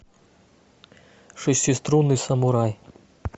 шестиструнный самурай